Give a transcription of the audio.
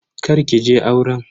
Kar ki je auren.